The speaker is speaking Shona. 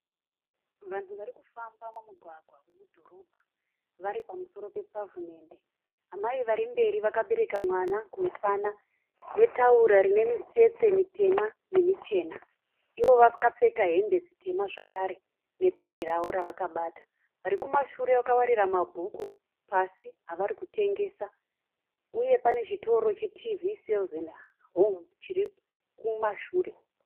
Vanhu vari kufamba pamugwagwa wedhorobha vari pamusoro pepavhimende. Amai vari mberi vakabereka mwana kumusana netauro rine mitsetse mitema nemichena. Ivo vakapfeka hembe dzitema zvakare nebhege ravo ravakabata. Vari kumashure vakawarira mabhuku pasi avari kutengesa uye pane chitoro che"TV Sales & Home" chiri kumashure.